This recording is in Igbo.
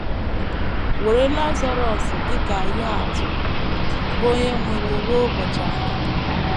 Were Lazarọs dị ka ihe atụ, bụ́ onye nwụrụ ruo ụbọchị anọ.